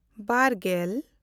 ᱵᱟᱨᱼᱜᱮᱞ